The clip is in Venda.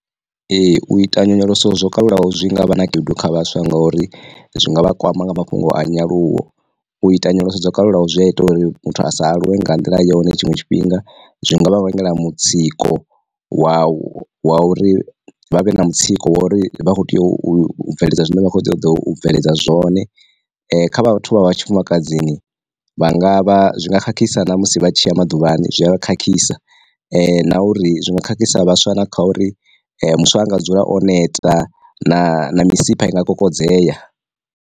Ee u ita nyonyoloso zwo kalulaho zwi nga vha na khaedu kha vhaswa ngori zwi nga vha kwama nga mafhungo a nyaluwo, u ita nyonyoloso dzo kalulaho zwi a ita uri muthu a sa aluwe nga nḓila yone tshiṅwe tshifhinga. Zwi ngavha vhangela mutsiko wa wa uri vha vhe na mutsiko wa uri vha kho tea u bveledza zwine vha kho tea u ḓo bveledza zwone. Kha vhathu vha vha tshifumakadzini vha nga vha zwi nga khakhisa na musi vha tshiya maḓuvhani zwi a vha khakhisa, na uri zwinwe khakhisa vhaswa na kha uri musi anga dzula o neta na misipha inga kokodzeya.